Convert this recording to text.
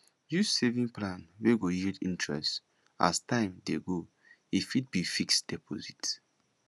use saving plan wey go yield interest as time dey go e fit be fixed deposit